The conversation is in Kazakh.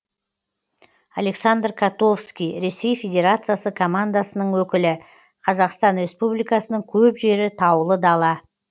александр котовский ресей федерациясы командасының өкілі қазақстан республикасының көп жері таулы дала